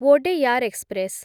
Wodeyar express